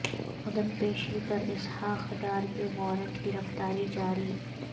عدم پیشی پر اسحاق ڈار کے وارنٹ گرفتاری جاری